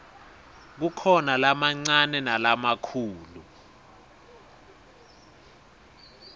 kukhona lamancane nalamikhulu